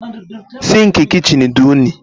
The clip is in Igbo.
Sinkii kichin di unyi.